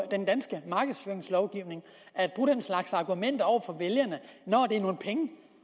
den danske markedsføringslovgivning at bruge den slags argumenter over for vælgerne når det er nogle penge